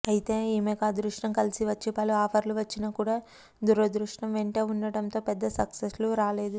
అయితే ఈమెకు అదృష్టం కలిసి వచ్చి పలు ఆఫర్లు వచ్చినా కూడా దురదృష్టం వెంటే ఉండటంతో పెద్ద సక్సెస్లు రాలేదు